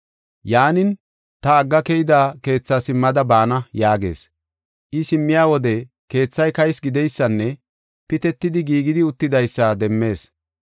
Yaanin, ‘Ta agga keyida keetha simmada baana’ yaagees. I simmiya wode keethay kaysi gideysanne pitetidi giigidi uttidaysa demmees.